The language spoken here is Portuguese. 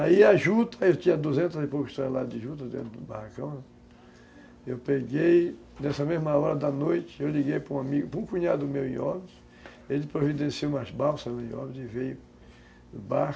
Aí a juta, eu tinha duzentas e poucos toneladas de juta dentro do barracão, eu peguei, nessa mesma hora da noite, eu liguei para um amigo, para um cunhado meu em Óbidos, ele providenciou umas balsas no Óbidos e veio de barco